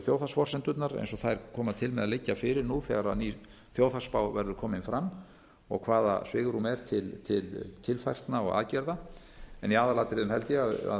þjóðhagsforsendurnar eins og þær koma til með að liggja fyrir nú þegar ný þjóðhagsspá verður komin fram og hvaða svigrúm er til tilfærslna og aðgerða en í aðalatriðum held ég að